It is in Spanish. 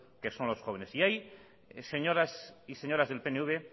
que son los jóvenes ahí señores y señoras del pnv